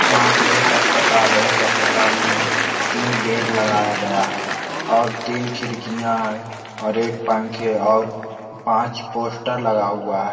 यहाँ पे एक अस्पताल है एक अस्पताल में तीन बेड लगाया गया हैं और तीन खिड़कियाँ हैं और एक पंखे और पांच पोस्टर लगा हुआ हैं।